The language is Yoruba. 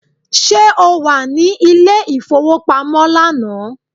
Ṣé o wà ní ilé ìfowópamọ́ lánàá?